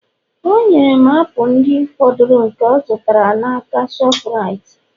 o nyere m apụl ndị fọdụrụ nke ọ zụtara n'aka shoprite